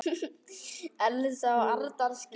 Elsa og Arnar skildu.